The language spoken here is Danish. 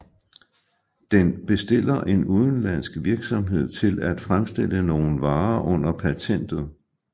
Den bestiller en udenlandsk virksomhed til at fremstille nogle varer under patentet